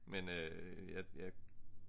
Men øh jeg